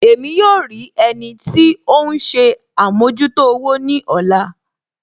Ẹ̀mí yóò rí ẹnì tì ọ̀hun ṣè àmọ̀jútò òwò ni ọ̀lá